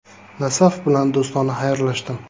“Nasaf” bilan do‘stona xayrlashdim.